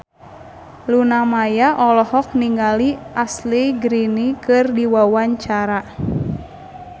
Luna Maya olohok ningali Ashley Greene keur diwawancara